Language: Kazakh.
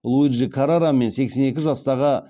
луиджи каррара мен сексен екі жастағы